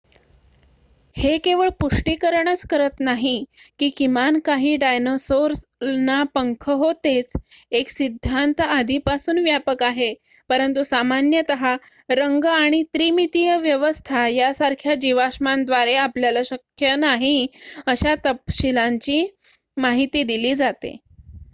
हे केवळ पुष्टीकरणच करत नाही की किमान काही डायनासोरना पंख होतेच एक सिद्धांत आधीपासून व्यापक आहे परंतु सामान्यत रंग आणि 3-मितीय व्यवस्था यासारख्या जीवाश्मांद्वारे आपल्याला शक्य नाही अशा तपशीलांची माहिती दिली जाते